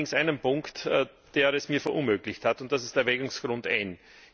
Ich habe allerdings einen Punkt, der es mir verunmöglicht hat, und das ist Erwägungsgrund N.